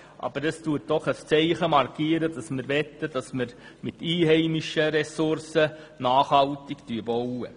Aber damit wird ein Zeichen gesetzt, dass wir mit einheimischen Materialien nachhaltig bauen wollen.